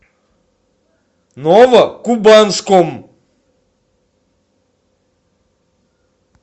новокубанском